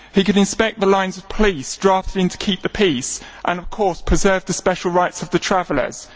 He can inspect the lines of police drafted in to keep the peace and, of course, preserve the special rights of the travellers.